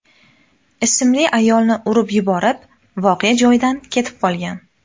ismli ayolni urib yuborib, voqea joyidan ketib qolgan.